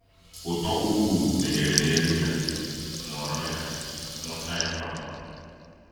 Ụ́tọ̀ ukwu meghere n’elu ya, ṅụọrọ ya, ṅụọchaa ya kpamkpam!